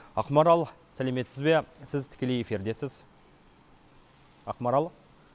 ақмарал сәлеметсіз бе сіз тікелей эфирдесіз ақмарал